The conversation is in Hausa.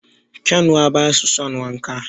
Kyanwa basu son wanka